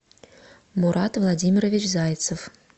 мурат владимирович зайцев